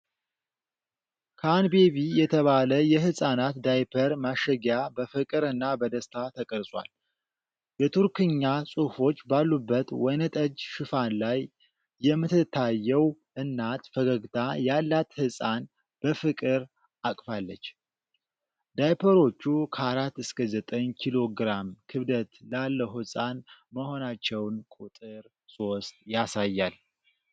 "ካንቤቢ" የተባለ የህፃናት ዳይፐር ማሸጊያ በፍቅር እና በደስታ ተቀርጿል። የቱርክኛ ጽሑፎች ባሉበት ወይንጠጅ ሽፋን ላይ የምትታየው እናት ፈገግታ ያላት ህጻን በፍቅር አቅፋለች፤ ዳይፐሮቹ ከ 4 እስከ 9 ኪሎ ግራም ክብደት ላለው ሕፃን መሆናቸውን ቁጥር 3 ያሳያል።